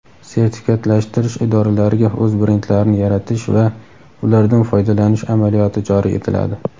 sertifikatlashtirish idoralariga o‘z brendlarini yaratish va ulardan foydalanish amaliyoti joriy etiladi.